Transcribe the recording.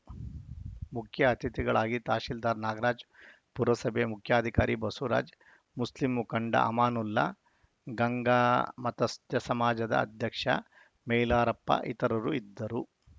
ಮುಖ್ಯ ಅತಿಥಿಗಳಾಗಿ ತಹಶೀಲ್ದಾರ್‌ ನಾಗರಾಜ್‌ ಪುರಸಭೆ ಮುಖ್ಯಾಧಿಕಾರಿ ಬಸವರಾಜ್‌ ಮುಸ್ಲಿಂ ಮುಖಂಡ ಅಮಾನುಲ್ಲಾ ಗಂಗಾಮತಸ್ತ ಸಮಾಜದ ಅಧ್ಯಕ್ಷ ಮೈಲಾರಪ್ಪ ಇತರರು ಇದ್ದರು